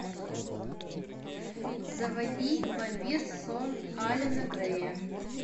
заводи вампир сон алена грея